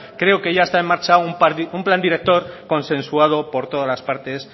creo que ya está en marcha un plan director consensuado por todas las partes